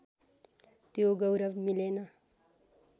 त्यो गौरव मिलेन